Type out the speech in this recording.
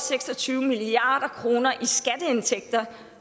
seks og tyve milliard kroner i skatteindtægter